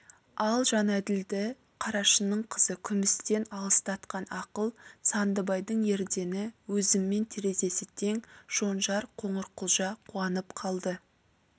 ал жәнәділді қарашының қызы күмістен алыстатқан ақыл сандыбайдың ердені өзіммен терезесі тең шонжар қоңырқұлжа қуанып қалды